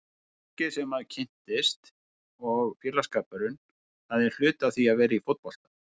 Fólkið sem maður kynnist og félagsskapurinn, það er hluti af því að vera í fótbolta.